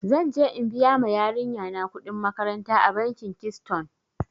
Zan je in biya ma yarinya na kuɗin makaranta a bankin kiston.